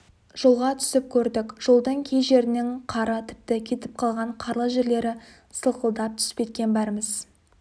жолға түсіп көрдік жолдың кей жерінің қары тіпті кетіп қалған қарлы жерлері сылқылдап түсіп кеткен бәріміз